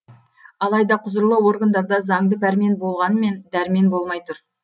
алайда құзырлы органдарда заңды пәрмен болғанмен дәрмен болмай тұр